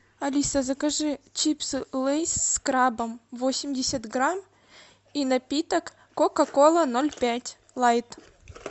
алиса закажи чипсы лейс с крабом восемьдесят грамм и напиток кока кола ноль пять лайт